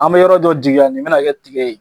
An bɛ yɔrɔ dɔ jigiya nin bɛna kɛ tigɛ ye.